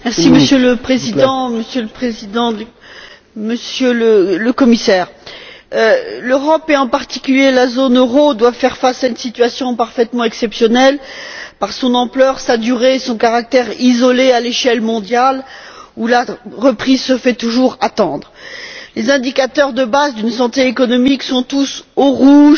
Monsieur le Président, Monsieur le Président en exercice du Conseil, Monsieur le Commissaire, l'Europe et, en particulier, la zone euro doivent faire face à une situation parfaitement exceptionnelle par son ampleur, sa durée, son caractère isolé à l'échelle mondiale, où la reprise se fait toujours attendre. Les indicateurs de base d'une santé économique sont tous au rouge,